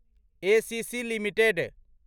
ACC limited